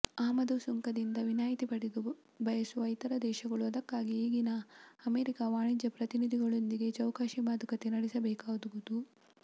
ಆಮದು ಸುಂಕದಿಂದ ವಿನಾಯಿತಿ ಪಡೆಯ ಬಯಸುವ ಇತರ ದೇಶಗಳು ಅದಕ್ಕಾಗಿ ಈಗಿನ್ನು ಅಮೆರಿಕ ವಾಣಿಜ್ಯ ಪ್ರತಿನಿಧಿಗಳೊಂದಿಗೆ ಚೌಕಾಶಿ ಮಾತುಕತೆ ನಡೆಸಬೇಕಾಗುವುದು